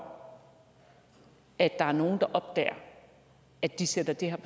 for at der er nogen der opdager at de sætter det her